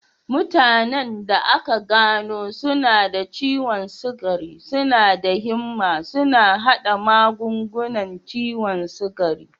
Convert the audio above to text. Mutanen da aka gano suna da ciwon sukari suna da himma suna haɗa magungunan ciwon sukari.